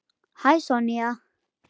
Hæ, Sonja.